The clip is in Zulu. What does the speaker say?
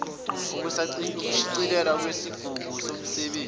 nokushicilelwa kwisigungu semisebenzi